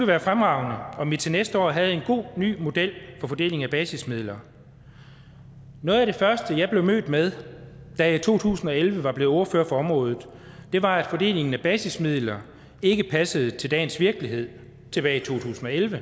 være fremragende om vi til næste år havde en god ny model for fordeling af basismidler noget af det første jeg blev mødt med da jeg i to tusind og elleve var blevet ordfører for området var at fordelingen af basismidler ikke passede til dagens virkelighed tilbage i to tusind og elleve